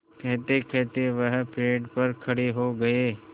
कहतेकहते वह पेड़ पर खड़े हो गए